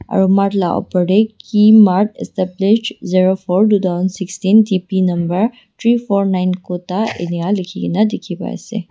aro mart laka upor dae ki mart established zero four two thousand sixteen town planning number three four nine kuda enika liki kina diki pai ase.